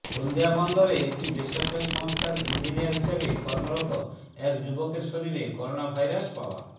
হলদিয়া বন্দরে একটি বেসরকারি সংস্থার ইঞ্জিনিয়ার হিসেবে কর্মরত এক যুবকের শরীরে করোনাভাইরাস পাওয়া